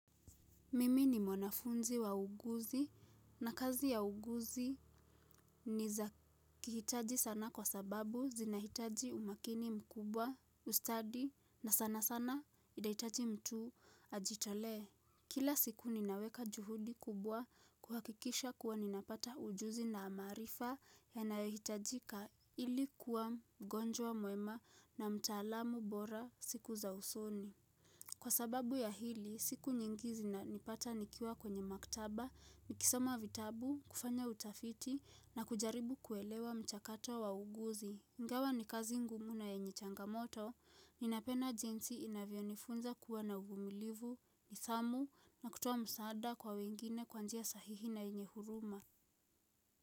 Mimi ni mwanafunzi wa uuguzi na kazi ya uuguzi ni za kihitaji sana kwa sababu zinahitaji umakini mkubwa, ustadi na sana sana inahitaji mtu ajitolee. Kila siku ninaweka juhudi kubwa kuhakikisha kuwa ninapata ujuzi na maarifa ya nayohitajika ili kuwa mgonjwa mwema na mtaalamu bora siku za usoni. Kwa sababu ya hili, siku nyingi zinanipata nikiwa kwenye maktaba, nikisoma vitabu, kufanya utafiti na kujaribu kuelewa mchakato wa uuguzi. Ingawa ni kazi ngumu na yenye changamoto, ninapena jinsi inavyonifunza kuwa na uvumilivu, nidhamu na kutoa msaada kwa wengine kwa njia sahihi na yenye huruma.